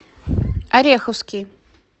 ореховский